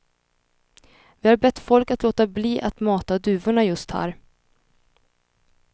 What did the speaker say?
Vi har bett folk att låta bli att mata duvorna just här.